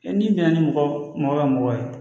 n'i bɛn na ni mɔgɔ mɔgɔ ka mɔgɔ ye